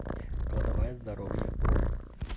кладовая здоровья бронь